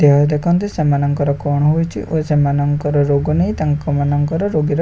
ଦେହ ଦେଖନ୍ତି ସେମାନଙ୍କର କଣ ହେଇଛି ଓ ସେମାନକର ରୋଗ ନେଇ ତାଙ୍କମାନଙ୍କର ରୋଗୀର--